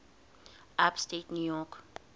upstate new york